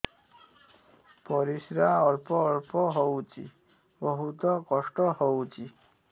ପରିଶ୍ରା ଅଳ୍ପ ଅଳ୍ପ ହଉଚି ବହୁତ କଷ୍ଟ ହଉଚି